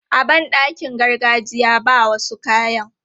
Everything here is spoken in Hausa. A ban ɗakin gargajiya, ba wasu kayan.